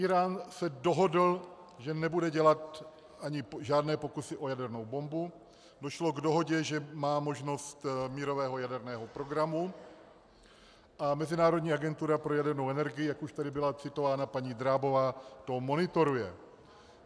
Írán se dohodl, že nebude dělat ani žádné pokusy o jadernou bombu, došlo k dohodě, že má možnost mírového jaderného programu, a Mezinárodní agentura pro jadernou energii, jak tady už byla citována paní Drábová, to monitoruje.